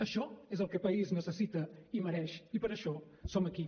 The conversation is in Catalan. això és el que el país necessita i mereix i per això som aquí